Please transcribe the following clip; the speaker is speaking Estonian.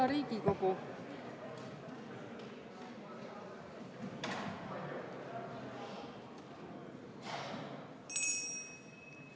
Hea Riigikogu!